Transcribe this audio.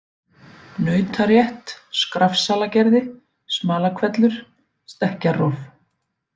Nautarétt, Skrafsalagerði, Smalahvellur, Stekkjarrof